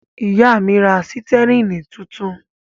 Ìyá mi ra sítẹ́rínì tuntun.